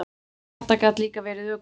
Þetta gat líka verið ökutæki.